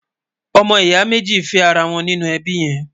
ọmọ ìyà méjì fé ará wón nínú ẹbí yèn